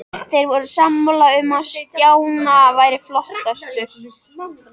Þeir voru sammála um að Stjána væri flottastur.